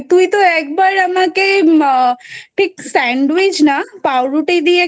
তুইতো একবার আমাকে আহ ঠিক sandwich না পাউরুটি দিয়ে